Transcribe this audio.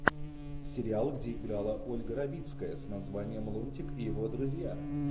сериал где играла ольга равицкая с названием лунтик и его друзья